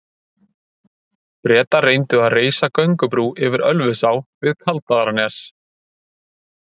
Bretar reyndu að reisa göngubrú yfir Ölfusá við Kaldaðarnes.